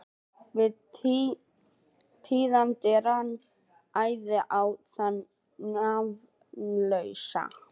Við tíðindin rann æði á þann nafnlausa.